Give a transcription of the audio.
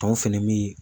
Tɔw fɛnɛ mi